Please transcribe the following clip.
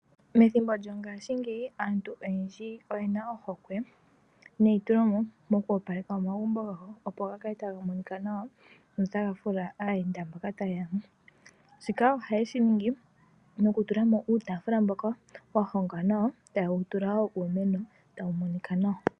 Methimbo lyongaashingeyi aantu oyendji oyena ohokwe neitulemo moku opaleka omagumbo gawo po ga kale taga monika nawa go notaga fuula aayenda mboka taye ya mo. Shika ohaye shi ningi mokutula mo uutaafula mboka wa hongwa nawa etaye wu tula uumeno mboka tawu monika nawa.